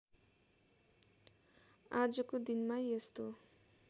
आजको दिनमा यस्तो